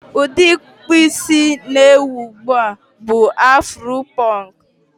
Ụdị ịkpụ isí na-ewi ugbu a bụ afuro pọnk.